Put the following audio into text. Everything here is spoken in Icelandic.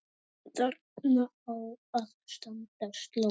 Þarna á að standa sló.